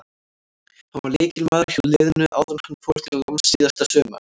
Hann var lykilmaður hjá liðinu áður en hann fór til náms síðasta sumar.